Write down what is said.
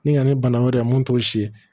Ni ka na ni bana wɛrɛ ye mun t'o si ye